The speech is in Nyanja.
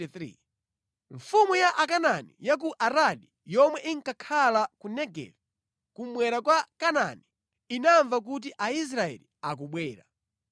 Mfumu ya Akanaani ya ku Aradi yomwe inkakhala ku Negevi kummwera kwa Kanaani, inamva kuti Aisraeli akubwera.